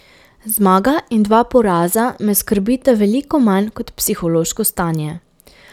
Zmaga in dva poraza me skrbita veliko manj kot psihološko stanje.